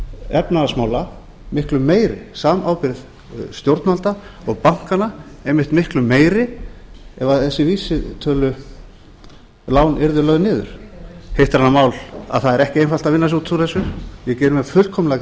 efnahagsmála miklu meiri samábyrgð stjórnvalda og bankanna einmitt miklu meir ef þessi vísitölulán yrðu lögð niður hitt er annað mál að það er ekki einfalt að vinna sig út úr þessu ég geri mér fullkomlega grein fyrir